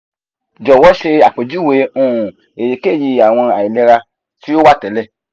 jowo ṣe apejuwe um eyikeyi awọn ailera ti o wa tẹlẹ